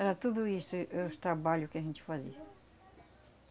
Era tudo isso, e eh os trabalho que a gente fazia.